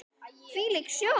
Hvílík sjón!